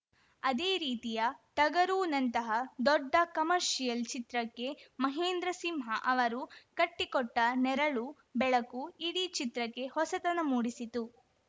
ಅದೇ ರೀತಿಯ ಟಗರುನಂತಹ ದೊಡ್ಡ ಕಮರ್ಷಿಯಲ್‌ ಚಿತ್ರಕ್ಕೆ ಮಹೇಂದ್ರ ಸಿಂಹ ಅವರು ಕಟ್ಟಿಕೊಟ್ಟನೆರಳು ಬೆಳಕು ಇಡೀ ಚಿತ್ರಕ್ಕೆ ಹೊಸತನ ಮೂಡಿಸಿತು